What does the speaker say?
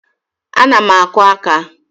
Ana m akụ aka